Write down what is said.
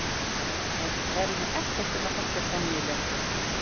Ég held að ég kæri mig ekkert um að þekkja Sonju lengur.